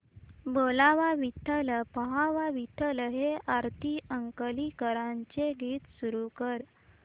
बोलावा विठ्ठल पहावा विठ्ठल हे आरती अंकलीकरांचे गीत सुरू कर